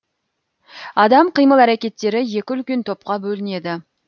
адам қимыл әрекеттері екі үлкен топқа бөлінеді